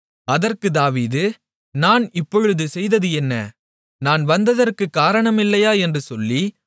அதற்குத் தாவீது நான் இப்பொழுது செய்தது என்ன நான் வந்ததற்கு காரணம் இல்லையா என்று சொல்லி